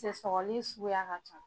cɛ sɔgɔli suguya ka can